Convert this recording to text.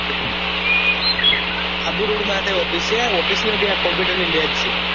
Abu Road માટે office છે office નથી આ કોમ્પુટર ની લેબ છે